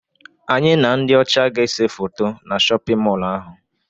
Anyị na ndị ọcha ga-ese foto na shọpịn mọlụ ahụ.